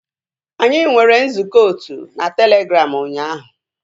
Anyị nwere nzukọ otu na Telegram ụnyaahụ